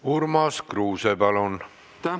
Urmas Kruuse, palun!